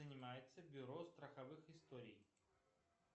занимается бюро страховых историй